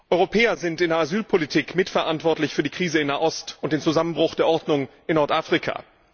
Europäer sind in der Asylpolitik mitverantwortlich für die Krise in Nahost und den Zusammenbruch der Ordnung in Nordafrika.